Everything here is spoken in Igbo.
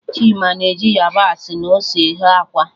Chima na eji yabasị na ose eghe akwa